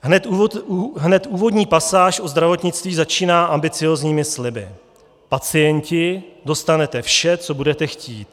Hned úvodní pasáž o zdravotnictví začíná ambiciózními sliby: Pacienti, dostanete vše, co budete chtít.